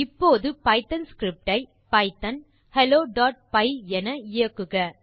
இப்போது Python script ஐ Python helloபை என இயக்குக